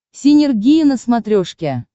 синергия на смотрешке